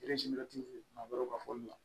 maa wɛrɛw ka fɔ la